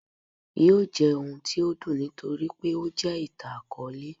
yóò jẹ ohún tí o dùn nítorí pé o jẹ ìtán-akọọlẹ.